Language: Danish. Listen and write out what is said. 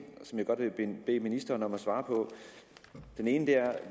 som jeg godt vil bede ministeren om at svare på den ene er